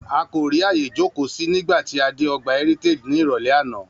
A kò rí àyè jókòó sí nígbà tí a dé ọgbà Heritage ní ìrọ̀lẹ́ àná